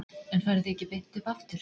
En farið þið ekki beint upp aftur?